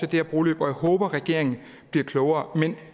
her broløb og jeg håber regeringen bliver klogere men